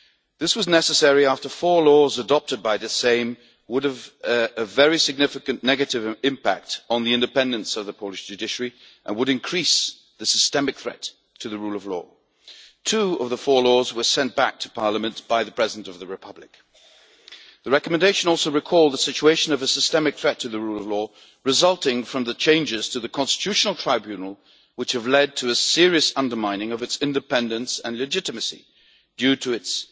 This was necessary after four laws adopted by the Sejm would have had a very significant negative impact on the independence of the Polish judiciary and would have increased the systemic threat to the rule of law. Two of the four laws were sent back to parliament by the President of the Republic. The recommendation also recalled the situation of a systemic threat to the rule of law, resulting from the changes to the Constitutional Tribunal, which have led to a serious undermining of its independence and legitimacy as the result of its